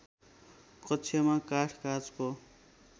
कक्षमा काठ काँचको